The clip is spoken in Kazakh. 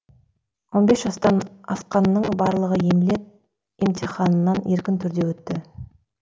он бес жастан асққанның барлығы емле емтиханынан еркін түрде өтті